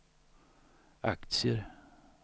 aktier